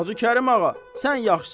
Hacı Kərim ağa, sən yaxşısan.